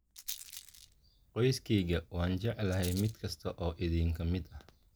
"Qoyskayga, waan jeclahay mid kasta oo idinka mid ah.